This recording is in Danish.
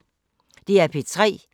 DR P3